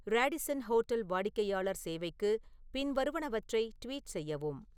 Radisson hotel வாடிக்கையாளர் சேவைக்கு பின்வருவனவற்றை ட்வீட் செய்யவும்